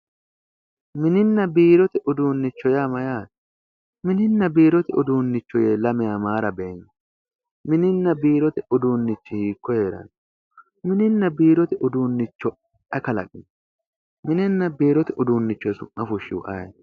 Mininna biirote uduunnicho yaa mayyate mininna biirote uduunicho yine lamewa Mayra beenki mininna biirote uduunnichi hiikko heeranno mininna biirote uduunnocho ayi kalaqino mininna biirote uduunnicho su'ma fushshihu ayeeti?